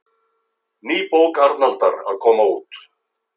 Ný bók Arnaldar að koma út